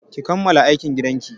Ki kammala aikin gidan ki!